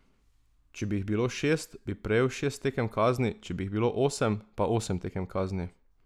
Če bi jih bilo šest, bi prejel šest tekem kazni, če bi jih bilo osem, pa osem tekem kazni.